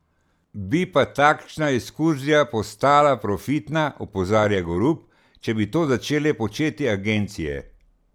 Bi pa takšna ekskurzija postala profitna, opozarja Gorup, če bi to začele početi agencije.